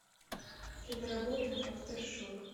киноработа афтершок